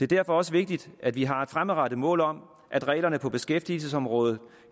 derfor også vigtigt at vi har et fremadrettet mål om at reglerne på beskæftigelsesområdet